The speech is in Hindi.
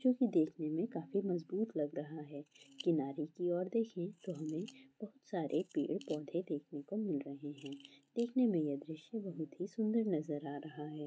ये दिखने में काफी मज़बूत लग रहा है किनारे की और देखे तोह हमे बोहोत सरे पेड़- पौधे देखने को मिलरहा है सुन्दर नज़र ारः है।